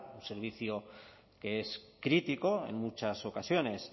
un servicio que es crítico en muchas ocasiones